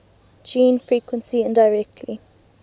gene frequency indirectly